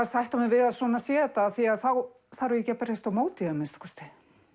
sætta mig við að svona sé þetta þá þarf ég ekki að berjast á móti því að minnsta kosti